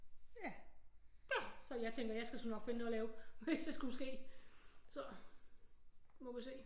Ja så jeg tænker jeg skal sgu nok finde noget at lave hvis jeg skulle ske så nu må vi se